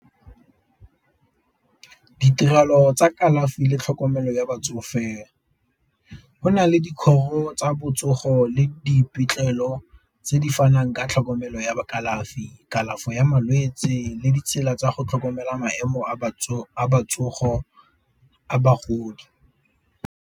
Ditirelo tsa kalafi le tlhokomelo ya batsofe, go na le dikgoro tsa botsogo le tse di fanang ka tlhokomelo ya kalafi, kalafi ya malwetse le ditsela tsa go tlhokomela maemo a botsogo a bagodi.